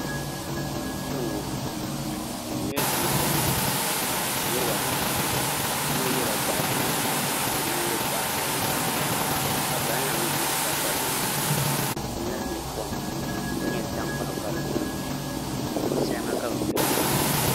Kpɛŋŋŋ n nyɛ ninsal nima nirabaanu yino yɛla goɣa ʒiɛ ka yino yɛ goɣa piɛlli ka bin la mii ʒi bi pata loŋni n lahi nyɛ kom ka nyɛ tankpaɣu ka di duɣu duɣu salima ka bi gbiri nimaani